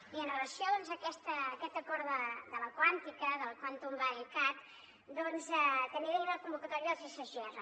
i amb relació a aquest acord de la quàntica del quantum valley cat també tenim la convocatòria dels sgr